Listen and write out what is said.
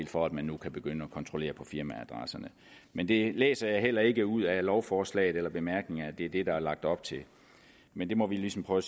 for at man nu kan begynde at kontrollere på firmaadresserne men jeg læser heller ikke ud af lovforslaget eller bemærkningerne at det er det der er lagt op til men det må vi ligesom prøve